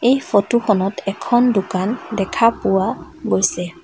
এই ফটো খনত এখন দোকান দেখা পোৱা গৈছে।